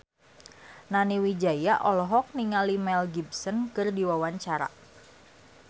Nani Wijaya olohok ningali Mel Gibson keur diwawancara